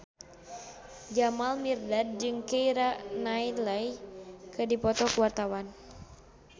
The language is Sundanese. Jamal Mirdad jeung Keira Knightley keur dipoto ku wartawan